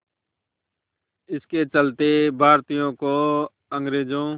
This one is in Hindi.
इसके चलते भारतीयों को अंग्रेज़ों